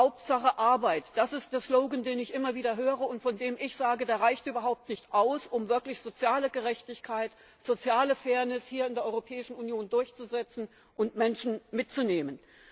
Hauptsache Arbeit das ist der Slogan, den ich immer wieder höre und von dem ich sage, der reicht überhaupt nicht aus, um wirklich soziale Gerechtigkeit, soziale Fairness hier in der Europäischen Union durchzusetzen und Menschen mitzunehmen.